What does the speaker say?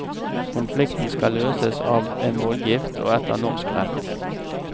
Konflikten skal løses av en voldgift og etter norsk rett.